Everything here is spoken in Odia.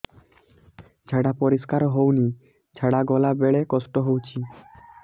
ଝାଡା ପରିସ୍କାର ହେଉନି ଝାଡ଼ା ଗଲା ବେଳେ କଷ୍ଟ ହେଉଚି